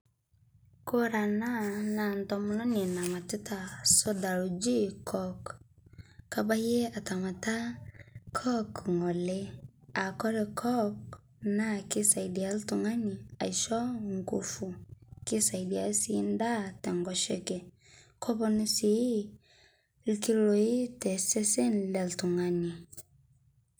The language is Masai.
Kore ana naa ntomononi namatita soda lojii coke. Kabaiyee atamataa coke ng'olee, aa kore coke naa keisaidia ltung'ani aishoo nguvu. Keisaidia sii ndaa to nkoshekee. Keponuu sii lkiloi te sesen le ltung'ani.